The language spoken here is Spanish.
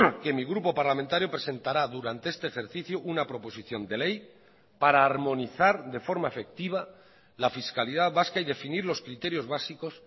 que mi grupo parlamentario presentará durante este ejercicio una proposición de ley para armonizar de forma efectiva la fiscalidad vasca y definir los criterios básicos